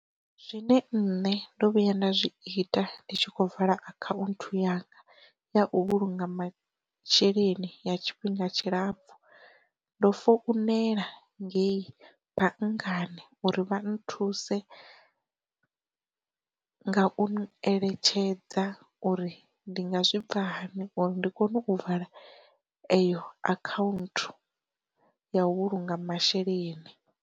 Zwine nṋe ndo vhuya nda zwi ita ndi tshi khou vula akhaunthu yanga ya u vhulunga masheleni ya tshifhinga tshilapfu, ndo founela ngei banngani uri vha nthuse ngau eletshedza uri ndi nga zwi bva hani uri ndi kone u vala eyo account ya u vhulunga masheleni.